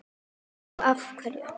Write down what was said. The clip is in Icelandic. Og þá af hverju?